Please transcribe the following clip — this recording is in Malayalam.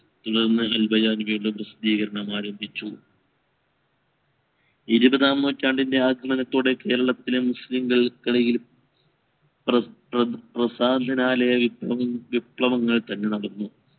പ്രാസദീകരണം ആരംഭിച്ചു ഇരുവതാം നൂറ്റാണ്ടിൻറെ ആദ്യമത്തോടെ കേരളത്തിലെ മുസ്ലിംകൾ ഇടയിലും വിപ്ലവങ്ങൾ തുടർന്നു